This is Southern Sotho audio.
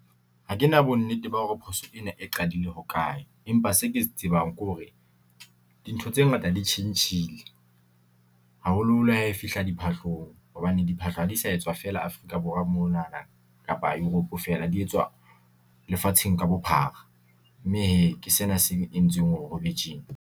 Ha kena bonnete ba hore phoso ena e qadile hokae, empa se ke se tsebang ke hore dintho tse ngata ditjhentjhile, haholoholo ha e fihla diphahlong, hobane diphahlo ha di sa etswa fela Afrika Borwa, mona na kapa Europe fela di etswa lefatsheng ka bophara, mme hee ke sena se entsweng hore ho be tjena.